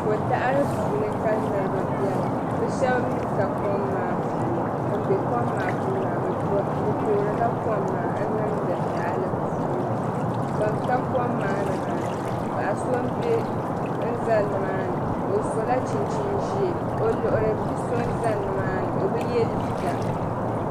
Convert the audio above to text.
ko' daɣiri puuni ka niriba beni bɛ shɛba mi ka kom maa puuni ban be kom maa puuni maa bɛ toorila kom maa n-niŋdi tahali puuni ban ka kom maa ni maa paɣa so n-za ni maani o sɔla chinchini ʒee o luɣili bi' so n-za ni maani o bi ye liiga